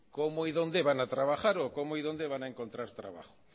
cómo y dónde van a trabajar o cómo y dónde van a encontrar trabajo